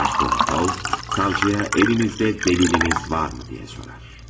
Raskolnikov savcıya əlinizdə dəlilləriniz varmı deyə sorar.